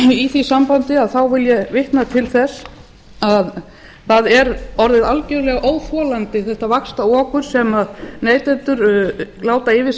í því sambandi vil ég vitna til þess að það er orðið algjörlega óþolandi þetta vaxtaokur sem neytendur láta yfir sig